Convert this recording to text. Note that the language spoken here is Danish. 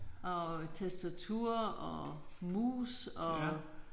Og tastatur og mus og